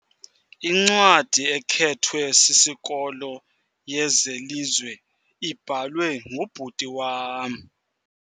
Incwadi ekhethwe sisikolo yezelizwe ibhalwe ngubhuti wam.